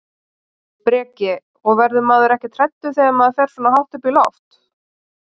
Breki: Og verður maður ekkert hræddur þegar maður fer svona hátt upp í loft?